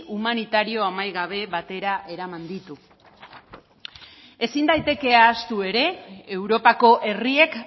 humanitario amaigabe batera eraman ditu ezin daiteke ahaztu ere europako herriek